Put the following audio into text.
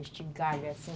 Este galho, assim.